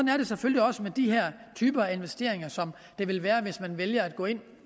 er det selvfølgelig også med de her typer af investeringer som det vil være hvis man vælger at gå ind